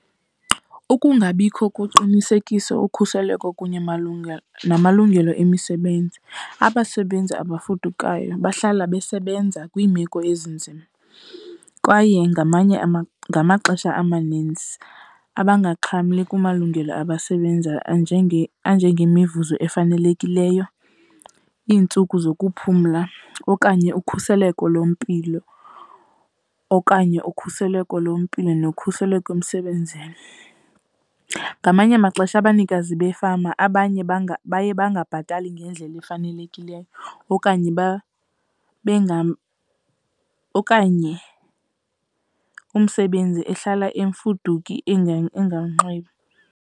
Ukungabikho koqinisekiso, ukhuseleko kunye namalungelo emisebenzi. Abasebenzi abafudukayo bahlala besebenza kwiimeko ezinzima kwaye ngamanye , ngamaxesha amaninzi abangaxhamli kumalungelo abasebenzayo, anjengemivuzo efanelekileyo, iintsuku zokuphumla okanye ukhuseleko lwempilo okanye ukhuseleko lwempilo nokhuseleko emsebenzini. Ngamanye amaxesha abanikazi beefama abanye baye bangabhatali ngendlela efanelekileyo okanye , okanye umsebenzi ehlala imfuduki .